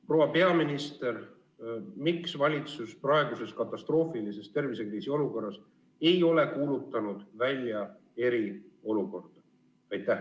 Proua peaminister, miks valitsus praeguses katastroofilises tervisekriisiolukorras ei ole kuulutanud välja eriolukorda?